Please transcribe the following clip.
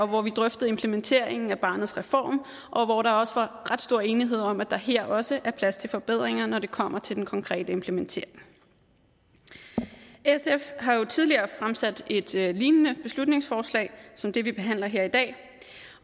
hvor vi drøftede implementeringen af barnets reform og hvor der også var ret stor enighed om at der her også er plads til forbedringer når det kommer til den konkrete implementering sf har jo tidligere fremsat et et lignende beslutningsforslag som det vi behandler her i dag